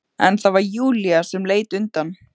En það var Júlía sem leit undan.